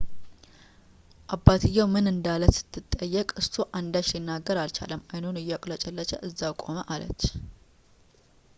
አባትየው ምን እንዳለ ስትጠየቅ እሱ አንዳች ሊናገር አልቻለም አይኑን እያቁለጨለጨ እዛው ቆመ አለች